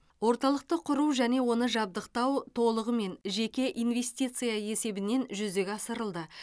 орталықты құру және оны жабдықтау толығымен жеке инвестиция есебінен жүзеге асырылды